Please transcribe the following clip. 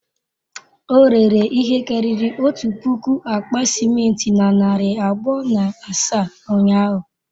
O rere ihe karịrị otu puku akpa simenti na narị abụọ na asaa ụnyahụ?